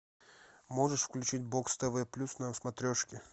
можешь включить бокс тв плюс на смотрешке